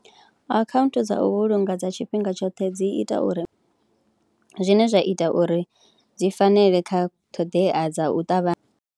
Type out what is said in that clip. Akhaunthu dza u vhulunga dza tshifhinga tshoṱhe dzi ita uri zwine zwa ita uri dzi fanele kha ṱhoḓea dza u ṱavhanya.